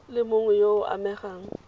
le mongwe yo o amegang